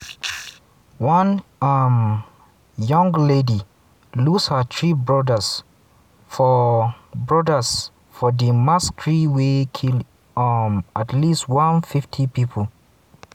one um young lady lose her three brodas for brodas for di massacre wey kill um at least 150 pipo.